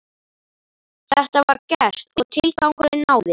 Þetta var gert og tilgangurinn náðist.